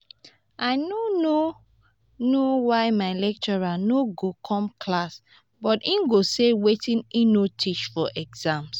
i no no know why my lecturer no go come class but he go set wetin he no teach for exam